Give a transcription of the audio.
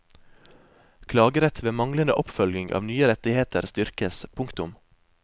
Klagerett ved manglende oppfølging av nye rettigheter styrkes. punktum